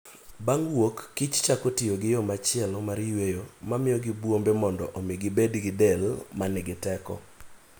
Bang' wuok kich chako tiyo gi yo machielo mar yweyo mamiyogi bwombe mondo omi gibed gi del ma nigi teko.